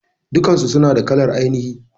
Dukansu suna da kalar ainihi.